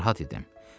Narahat idim.